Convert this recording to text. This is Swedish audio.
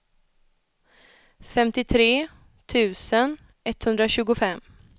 femtiotre tusen etthundratjugofem